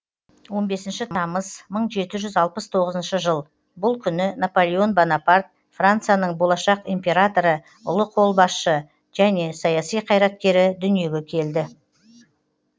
он бесінші тамыз мың жеті жүз алпыс тоғызыншы жыл бұл күні наполеон бонапарт францияның болашақ императоры ұлы қолбасшы және саяси қайраткері дүниеге келді